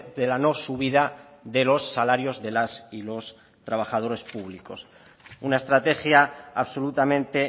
de la no subida de los salarios de las y los trabajadores públicos una estrategia absolutamente